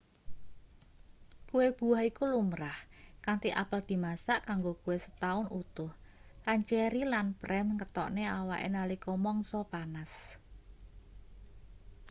kue buah iku lumrah kanthi apel dimasak kanggo kue setaun utuh lan ceri lan prem ngetokne awake nalika mangsa panas